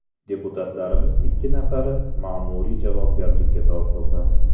Deputatlarimizdan ikki nafari ma’muriy javobgarlikka tortildi.